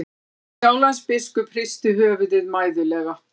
Sjálandsbiskup hristi höfuðið mæðulega.